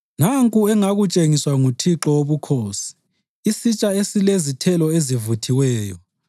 Nanku engakutshengiswa nguThixo Wobukhosi: isitsha esilezithelo ezivuthiweyo.